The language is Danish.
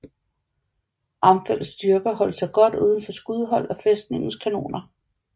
Armfeldts styrker holdt sig godt udenfor skudhold af fæstningens kanoner